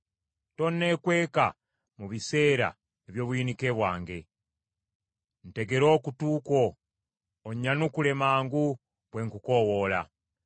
Tonneekweka mu biseera eby’obuyinike bwange. Ntegera okutu kwo onnyanukule mangu bwe nkukoowoola!